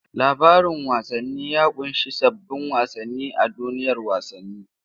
Labarin wasanni ya kunshi sabbin wasanni a duniyar wasanni.